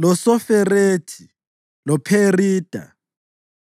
loSoferethi loPherida,